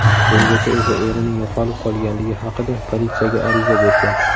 Bungacha esa erining yo‘qolib qolganligi haqida politsiyaga ariza bergan.